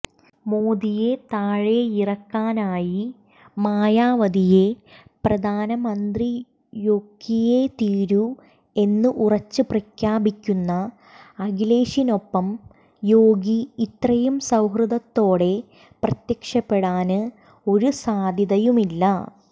മോദിയെ താഴെയിറക്കാനായി മായാവതിയെ പ്രധാനമന്ത്രിയൊക്കിയേ തീരൂ എന്ന് ഉറച്ച് പ്രഖ്യാപിക്കുന്ന അഖിലേഷിനൊപ്പം യോഗി ഇത്രയും സൌഹര്ദത്തോടെ പ്രത്യക്ഷപ്പെടാന് ഒരു സാദ്ധ്യതയുമില്ല